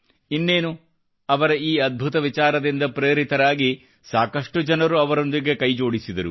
ಇನ್ನೇನು ಅವರ ಈ ಅದ್ಭುತ ವಿಚಾರದಿಂದ ಪ್ರೇರಿತರಾಗಿ ಸಾಕಷ್ಟು ಜನರು ಅವರೊಂದಿಗೆ ಕೈಜೋಡಿಸಿದರು